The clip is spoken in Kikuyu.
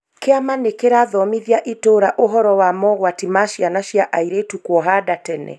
Kĩama nĩkĩrathomithia itũũra ũhoro wa mogwati ma ciana cia airĩtu kwohanda tene